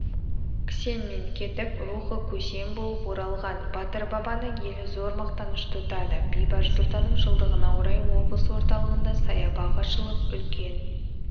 кісенмен кетіп рухы көсем болып оралған батыр бабаны елі зор мақтаныш тұтады бейбарыс сұлтанның жылдығына орай облыс орталығында саябақ ашылып үлкен